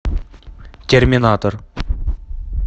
терминатор